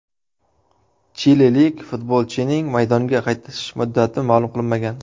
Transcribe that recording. Chililik futbolchining maydonga qaytish muddati ma’lum qilinmagan.